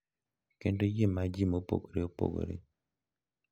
Kendo yie ma ji mopogore opogore nigo.